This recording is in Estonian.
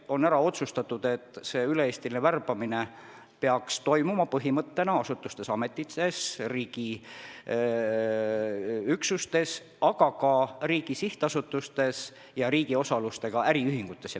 On ära otsustatud, et see üle-eestiline värbamine peaks põhimõtteliselt toimuma asutustes-ametites, riigiüksustes, aga ka riigi sihtasutustes ja riigi osalusega äriühingutes.